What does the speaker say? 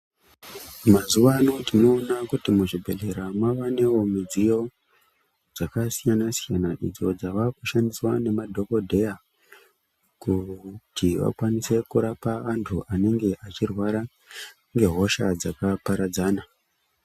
Mazuva ano tinoona kuti muzvibhedhlera mavawo nemidziyo dzakasiyana siyana idzo dzava kushandiswa nemadhokodheya kuti vakwanise kurapa vantu vanenge vachirwara nehosha dzakaparadzana.